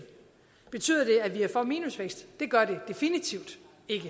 betyder det at vi er for minusvækst det gør det definitivt